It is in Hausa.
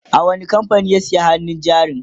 a wani kamfanin ya saya hannun jarin?